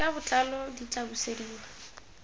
ka botlalo di tla busediwa